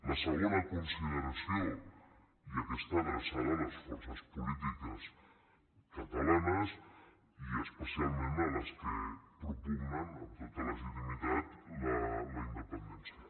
la segona consideració i aquesta adreçada a les for·ces polítiques catalanes i especialment a les que pro·pugnen amb tota legitimitat la independència